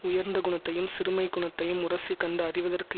உயர்ந்த குணத்தையும் சிறுமைக் குணத்தையும் உரசிக்கண்டு அறிவதற்கு